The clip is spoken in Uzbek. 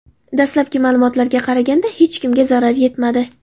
Dastlabki ma’lumotlarga qaraganda hech kimga zarar yetmadi.